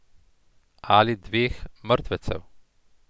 Ali dveh mrtvecev.